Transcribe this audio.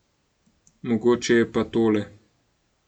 Mogoče je pa tole.